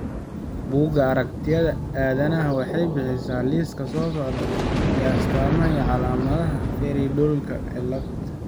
Bugga Aragtiyaha Aadanaha waxay bixisaa liiska soo socda ee astamaha iyo calaamadaha Feingoldka cilad.